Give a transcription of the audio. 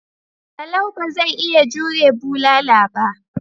Salau ba zai iya jure bulala ba.